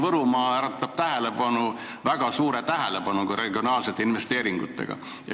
Üldse äratab Võrumaa väga suurt tähelepanu regionaalsete investeeringute seisukohalt.